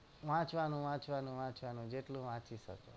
વાંચવાનું વાંચવાનું વાંચવાનું જેટલું વાંચી શકો